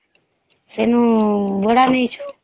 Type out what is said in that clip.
ସେ ନୁ ଭଡା ନେଇଛୁ